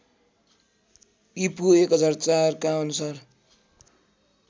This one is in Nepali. ईपू १००४ का अनुसार